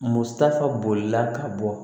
Musaka bolila ka bɔ